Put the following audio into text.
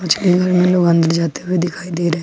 अंदर जाते हुए दिखाई दे रहे--